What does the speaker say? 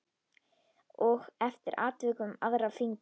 Og eftir atvikum aðra fingur.